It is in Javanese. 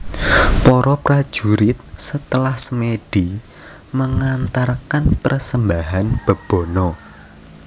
Para prajurit setelah semedi mengantarkan persembahan Bebono